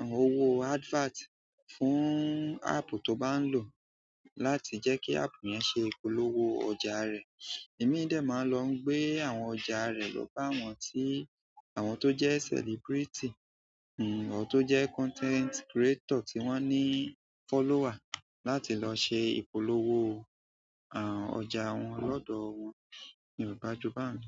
àwọn owó o advert fún app tó bá ń lò láti jẹ́ kí app yẹn ṣe ìpolówó ọjà a rẹ̀. Ìmíì dẹ̀ ma ń lọ ń gbé àwọn ọjà a rẹ̀ lọ bá àwọn tí, àwọn tó jẹ́ celebrity, n-n, àwọn tó jẹ́ content creator tí wọ́n ní follower láti lọ ṣe ìpolówó, àh, ọjà a wọn lọ́dọ̀ ọ wọn. Yorùbá ju bá wun.